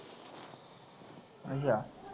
ਅੱਛਾ